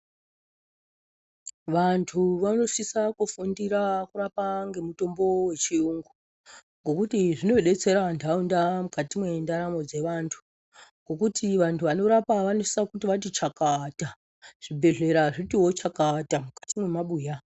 Vantu vanosisa kufundira kurapa ngemutombo wechiyungu ngokuti zvinodetsera ntaunda mukati mwendaramo dzevantu ngokuti vantu vanorapa vanosisa kuti vati chakata, zvibhedhlera zvitiwo chakata mukati mwemabuya.